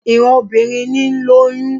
Ìran obìnrin ní ń lóyún